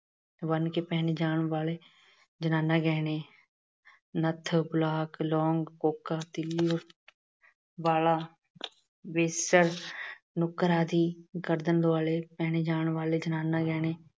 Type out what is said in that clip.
ਬੰਨ੍ਹ ਕੇ ਪਹਿਣੇ ਜਾਣ ਵਾਲੇ ਜਨਾਨਾ ਗਹਿਣੇ- ਨੱਥ, ਲੌਂਗ, ਕੋਕਾ, ਤਿੱਲੀ, ਬਾਲਾ, ਬੇਸਰ, ਨੁਕਰ ਆਦਿ। ਗਰਦਨ ਦੁਆਲੇ ਪਹਿਣੇ ਜਾਣ ਵਾਲੇ ਜਨਾਨਾ ਗਹਿਣੇ